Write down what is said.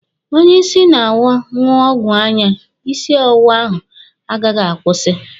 Onye isi na-awọ ṅụọ ọgwụ anya, isi ọwụwa ahụ agaghị akwụsị.